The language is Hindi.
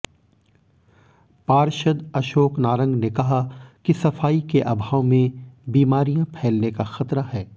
पार्षद अशोक नारंग ने कहा कि सफाई के अभाव में बीमारियां फैलने का खतरा है